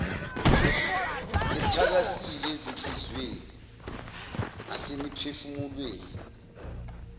bethakasile ezinhliziyweni nasemiphefumulweni